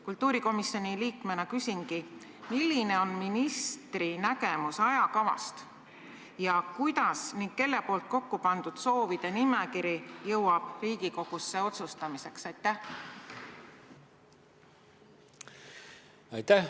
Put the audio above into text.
" Kultuurikomisjoni liikmena küsingi: milline on ministri nägemus ajakavast ja kelle kokkupandud soovide nimekiri jõuab Riigikogusse otsustamiseks?